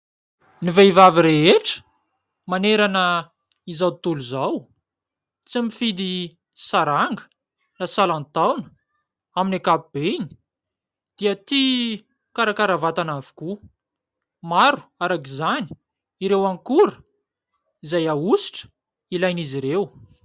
Ny vehivavy rehetra manerana izao tontolo izao, tsy mifidy saranga na salantaona amin'ny ankapobeny dia tia mikarakara vatana avokoa. Maro arak'izany ireo akora izay ahosotra ilain'izy ireo.